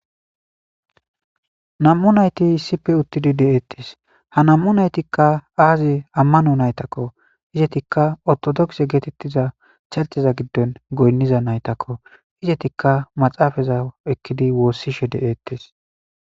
am'u nayti issife uttidi de'eettes ha nammu naytikka aazi ammano naytakko izetikka ortodokse geetettiza chalteza giddon goynniza naytakko izetikka maxaafaza ekkidi woossishe deettes.